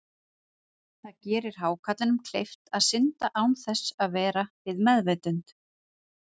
Það gerir hákarlinum kleift að synda án þess að vera við meðvitund.